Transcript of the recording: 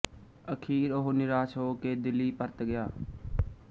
ਅਖ਼ੀਰ ਉਹ ਨਿਰਾਸ਼ ਹੋ ਕੇ ਦਿੱਲੀ ਪਰਤ ਗਿਆ